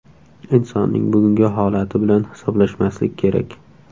Insonning bugungi holati bilan hisoblashmaslik kerak.